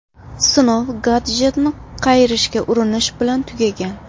Sinov gadjetni qayirishga urinish bilan tugagan.